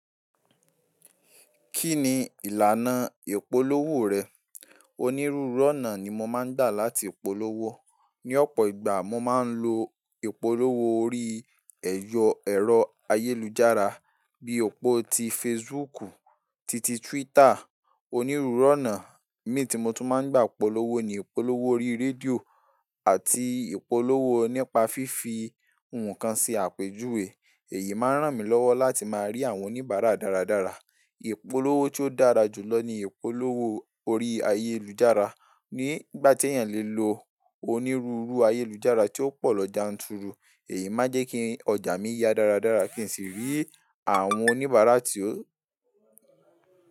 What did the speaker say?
Kí ni ìlànà ìpolówó rẹ̀? Onírúurú ọ̀nà ni mo máa ń dà láti polówó. Ni ọ̀pọ̀ ìgbà, mo máa ń lo ìpolówó orí ẹ̀yọ ẹ̀rọ ayélujára bí i òpó ti Facebook titi Twitter. Onírúurú ọ̀nà mínhìn tí mo tún máa ń gba ìpolówó ni ìpolówó orí rédíò àti ìpolówó nípa fífi ǹkan se àpèjúwe. Èyí máa ń ràn mí lọ́wọ́ láti máa rí àwọn oníbàárà dáradára. Ìpolówó tíó dára jù lọ ni ìpolówó orí ayélujára. Ni ìgbà tí èèyàn le lo onírúurú ayélujára tí ó pọ̀ lọ janturu, èyí máa ń jẹ́ kí ọjà mi ya dáradára kí n sì rí àwọn oníbàárà tí ó.